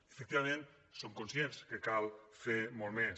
efectivament som conscients que cal fer molt més